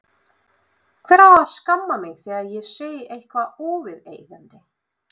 Hver á að skamma mig þegar ég segi eitthvað óviðeigandi?